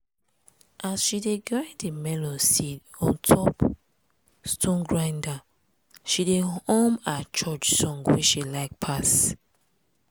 as she dey grind di melon seed on top stone grinder she dey hum her church song wey she like pass.